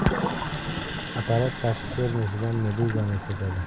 Apparat tashqi ko‘rinishidan meduzani eslatadi.